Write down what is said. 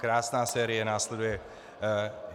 Krásná série následuje.